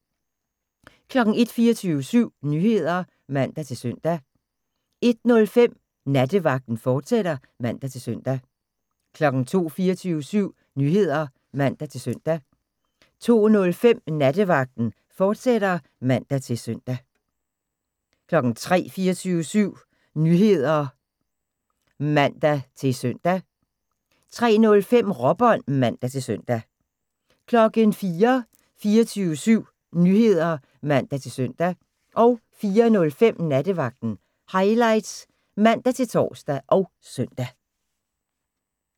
01:00: 24syv Nyheder (man-søn) 01:05: Nattevagten, fortsat (man-søn) 02:00: 24syv Nyheder (man-søn) 02:05: Nattevagten, fortsat (man-søn) 03:00: 24syv Nyheder (man-søn) 03:05: Råbånd (man-søn) 04:00: 24syv Nyheder (man-søn) 04:05: Nattevagten Highlights (man-tor og søn)